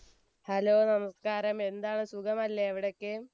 hello നമസ്കാരം എന്താണ് സുഖമല്ലേ അവിടൊക്കെ